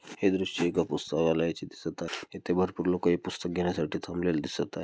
हे दृश्य एका पुस्तलयाचे दिसत आहे तेथे भरपूर लोक हे पुस्तक घेण्यासाठी थांबलेले दिसत आहे.